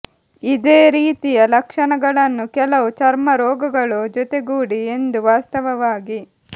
ಇದೇ ರೀತಿಯ ಲಕ್ಷಣಗಳನ್ನು ಕೆಲವು ಚರ್ಮ ರೋಗಗಳು ಜೊತೆಗೂಡಿ ಎಂದು ವಾಸ್ತವವಾಗಿ